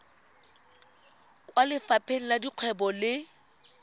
kwa lefapheng la dikgwebo le